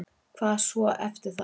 Hvað svo eftir það?